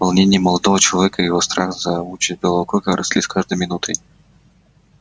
волнение молодого человека и его страх за участь белого клыка росли с каждой минутой